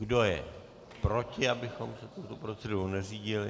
Kdo je proti, abychom se tuto proceduru neřídili?